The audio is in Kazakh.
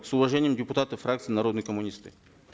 с уважением депутаты фракции народные коммунисты